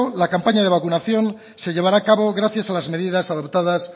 la campaña de vacunación se llevará a cabo gracias a las medidas adoptadas